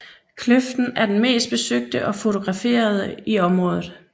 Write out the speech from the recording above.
Kløften er den mest besøgte og fotograferede i området